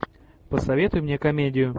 посоветуй мне комедию